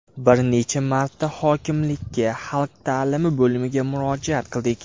Bir necha marta hokimlikka, xalq ta’limi bo‘limiga murojaat qildik.